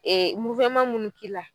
munnu k'i la